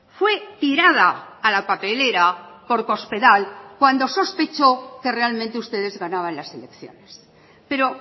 fue tirada a la papelera por cospedal cuando sospechó que realmente ustedes ganaban las elecciones pero